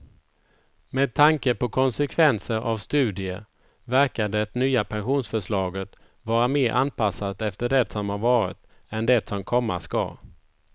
Med tanke på konsekvenser av studier verkar det nya pensionsförslaget vara mer anpassat efter det som har varit än det som komma ska.